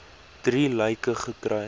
drie lyke gekry